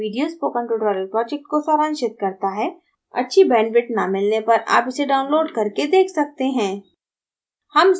यह video spoken tutorial project को सारांशित करता है अच्छी bandwidth न मिलने पर आप इसे download करके देख सकते हैं